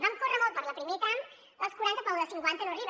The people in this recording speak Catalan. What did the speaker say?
vam córrer molt pel primer tram el dels quaranta però el de cinquanta no arriba